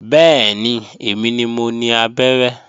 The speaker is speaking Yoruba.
Bẹ́ẹ̀ni, èmi ni mo ni abẹ́rẹ́